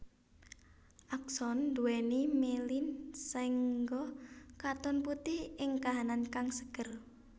Akson nduwèni mielin saéngga katon putih ing kahanan kang seger